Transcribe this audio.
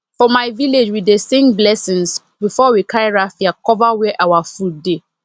for my village we dey sing blessings before we carry raffia cover where our food dey